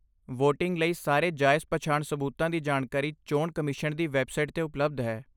Voting ਲਈ ਸਾਰੇ ਜਾਇਜ਼ ਪਛਾਣ ਸਬੂਤਾਂ ਦੀ ਜਾਣਕਾਰੀ ਚੋਣ ਕਮਿਸ਼ਨ ਦੀ ਵੈੱਬਸਾਈਟ 'ਤੇ ਉਪਲਬਧ ਹੈ।